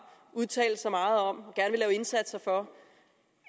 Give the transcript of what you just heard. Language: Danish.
udtalt sig meget om og indsatser for